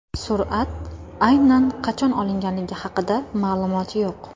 Surat aynan qachon olingani haqida ma’lumot yo‘q.